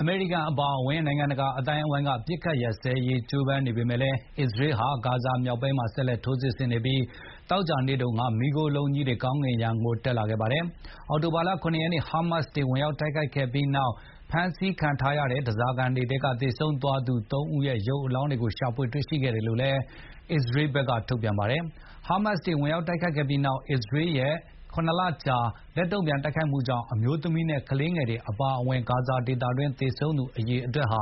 အမေရိကန် အပါအဝင် နိုင်ငံတကာအသိုင်းအဝိုင်းက အပစ်အခတ်ရပ်စဲရေး ကြိုးပမ်းနေပေမယ့်လည်း အစ္စရေးဟာ ဂါဇာမြောက်ပိုင်းမှာ ဆက်လက် ထိုးစစ်ဆင်နေပြီး သောကြာနေ့တုန်းက မီးခိုးလုံးကြီးတွေ ကောင်းကင်ယံကို တက်လာခဲ့ပါတယ်။ အောက်တိုဘာ ၇ ရက် ဟားမတ်စ်တွေ ဝင်ရောက် တိုက်ခိုက်ခဲ့ပြီးနောက် ဖမ်းဆီးခံထားရတဲ့ ဓါးစာခံတွေထဲကသေဆုံးသွားသူ ၃ ဦးရဲ့ ရုပ်အလောင်းတွေကို ရှာဖွေရရှိခဲ့တယ်လို့လည်း အစ္စရေးဘက်က ထုတ်ပြန်ပါတယ်။ ဟားမတ်စ်တွေဝင် ရောက်တိုက်ခိုက်ပြီးနောက် အစ္စရေးရဲ့ ၇ လကြာ လက်တုံ့ပြန် တိုက်ခိုက်မှုကြောင့် အမျိုးသမီးနဲ့ကလေးငယ်တွေ အပါအဝင် ဂါဇာဒေသတွင်း သေဆုံးသူအရေအတွက်ဟာ